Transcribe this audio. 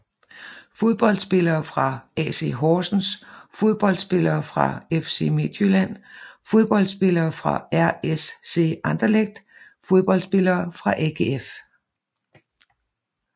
Fodboldspillere fra AC Horsens Fodboldspillere fra FC Midtjylland Fodboldspillere fra RSC Anderlecht Fodboldspillere fra AGF